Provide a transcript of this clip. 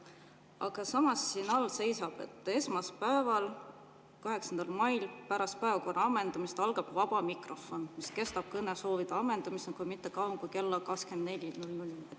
Aga samas siin all seisab, et esmaspäeval, 8. mail pärast päevakorra ammendumist algab vaba mikrofon, mis kestab kõnesoovide ammendumiseni, kuid mitte kauem kui kella 24‑ni.